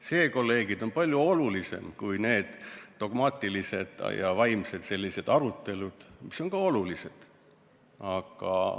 See, kolleegid, on palju olulisem kui need dogmaatilised ja vaimsed arutelud, mis on ka olulised.